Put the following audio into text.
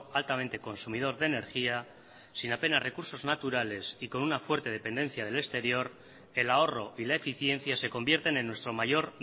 altamente consumidor de energía sin apenas recursos naturales y con una fuerte dependencia del exterior el ahorro y la eficiencia se convierten en nuestro mayor